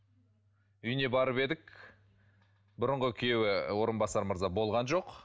үйіне барып едік бұрынғы күйеуі орынбасар мырза болған жоқ